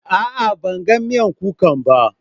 A'a, ban gan miyan kukan ba.